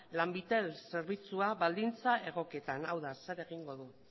lanbitel zerbitzua baldintza egokietan hau da zer egingo du